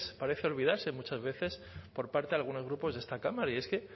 parece olvidarse muchas veces por parte de algunos grupos de esta cámara y es que